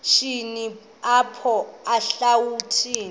shini apho erawutini